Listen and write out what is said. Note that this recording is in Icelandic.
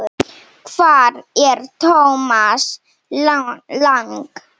Hvar er Thomas Lang?